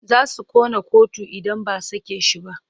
Za su ƙona kotu idan ba a sake shi ba.